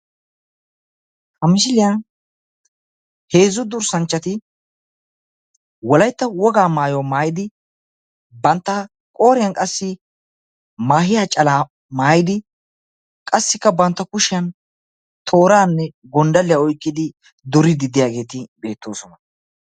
Ha misiliyan heezzu durssanchchati wolaytta woga maayuwa maayidi bantta qooriyan qassi maahiya calaa maayidi qassikka bantta kushiya tooranne gonddalliya oykkidi duriiddi diyageeti beettoosona.